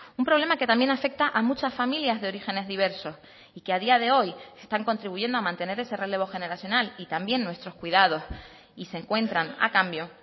un problema que también afecta a muchas familias de orígenes diversos y que a día de hoy están contribuyendo a mantener ese relevo generacional y también nuestros cuidados y se encuentran a cambio